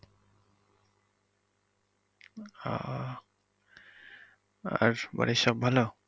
আহ আর বাড়ির সব ভালো?